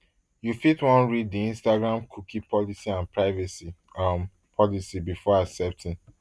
you fit wan read di instagramcookie policyandprivacy um policybefore accepting